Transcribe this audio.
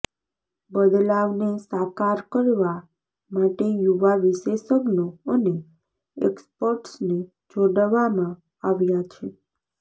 બદલાવને સાકાર કરવા માટે યુવા વિશેષજ્ઞો અને એક્સપર્ટ્સને જોડવામાં આવ્યાં છે